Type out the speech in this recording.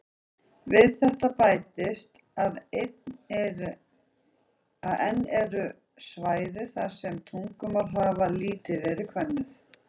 Við þetta bætist að enn eru svæði þar sem tungumál hafa lítið verið könnuð.